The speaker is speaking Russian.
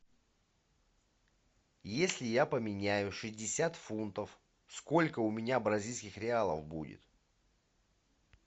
если я поменяю шестьдесят фунтов сколько у меня бразильских реалов будет